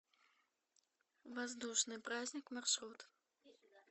воздушный праздник маршрут